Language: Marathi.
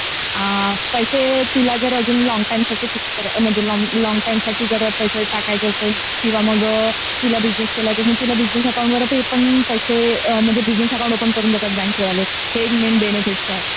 पैसे अजून तुला जर अजून लॉंग टाईम साठी फिक्स करायचे असेल तर लॉन्ग टाइम साठी जर पैसे टाकायचे असेल किंवा मग बिझनेस खोलायचं असेल. अकाउंट वर तर बिझनेस अकाउंट वर पण बिझनेस अकाउंट ओपन करून देतात बँक वाले. हे एक मेन बेनिफिट्स आहेत